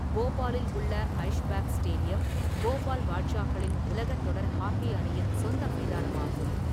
போபாலில் உள்ள ஐஷ்பாக் ஸ்டேடியம், போபால் பாட்ஷாக்களின் உலக தொடர் ஹாக்கி அணியின் சொந்த மைதானமாகும்.